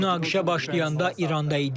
Münaqişə başlayanda İranda idim.